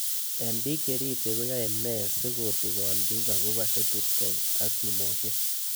Eng' pik che ripsei koyae nee si kotikon pik akopo eduTech ak simoshek